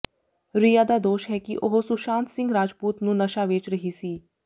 ਰਿਆ ਦਾ ਦੋਸ਼ ਹੈ ਕਿ ਉਹ ਸੁਸ਼ਾਂਤ ਸਿੰਘ ਰਾਜਪੂਤ ਨੂੰ ਨਸ਼ਾ ਵੇਚ ਰਹੀ ਸੀ